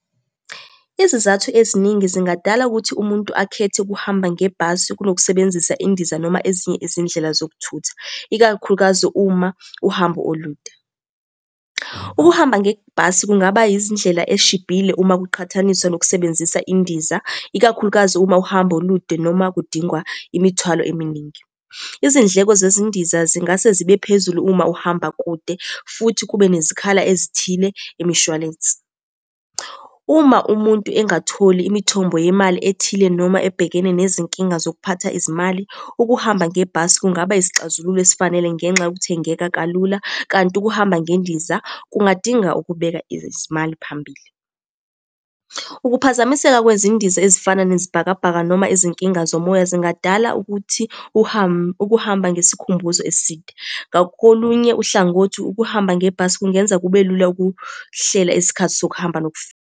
Izizathu eziningi zingadala ukuthi umuntu akhethe ukuhamba ngebhasi kunokusebenzisa indiza noma ezinye izindlela zokuthutha, ikakhulukazi uma uhambo olude. Ukuhamba ngebhasi kungaba yizindlela eshibhile uma kuqhathaniswa nokusebenzisa indiza, ikakhulukazi uma uhambo olude noma kudingwa imithwalo eminingi. Izindleko zezindiza zingase zibe phezulu uma uhamba kude futhi kube nezikhala ezithile imishwalensi. Uma umuntu engatholi imithombo yemali ethile noma ebhekene nezinkinga zokuphatha izimali, ukuhamba ngebhasi kungaba isixazululo esifanele ngenxa yokuthengeka kalula, kanti ukuhamba ngendiza kungadinga ukubeka izimali phambili. Ukuphazamiseka kwezindiza ezifana nezibhakabhaka noma izinkinga zomoya zingadala ukuthi ukuhamba ngesikhumbuzo eside. Ngakolunye uhlangothi ukuhamba ngebhasi kungenza kube lula ukuhlela isikhathi sokuhamba .